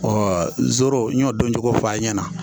zoro n y'o dɔn cogo f'a ɲɛna